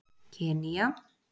Kenýa